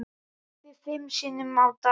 Kaffi fimm sinnum á dag.